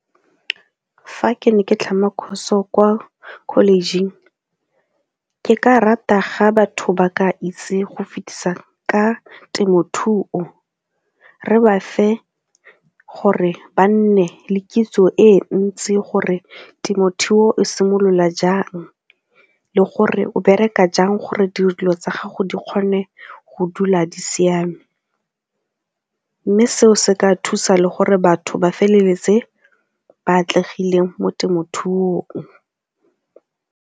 Fa ke ne ke tlhama course-o kwa college-ing, ke ka rata ga batho ba ka itse go fetisa ka temothuo re ba fe gore ba nne le kitso e ntsi gore temothuo e simolola jang le gore o bereka jang gore dilo tsa gago di kgone go dula di siame mme seo se ka thusa le gore batho ba feleletse ba atlegile mo temothuong.